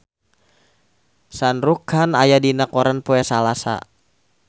Shah Rukh Khan aya dina koran poe Salasa